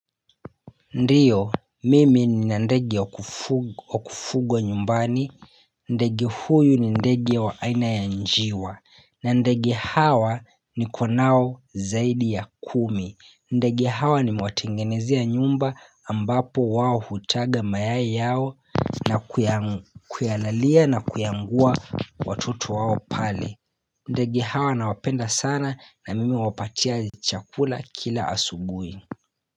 Ndiyo mimi nina ndege wa kufugwa nyumbani ndege huyu ni ndege wa aina ya njiwa na ndege hawa nikonao zaidi ya kumi ndege hawa nimewatengenezea nyumba ambapo wao hutaga mayai yao na kuyalalia na kuyaangua watoto wao pale ndege hawa nawapenda sana na mimi huwapatia chakula kila asubuhi.